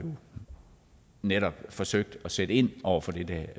netop har forsøgt at sætte ind over for det der